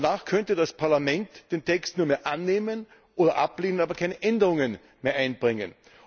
Danach könnte das Parlament den Text nur mehr annehmen oder ablehnen, aber keine Änderungen mehr einbringen.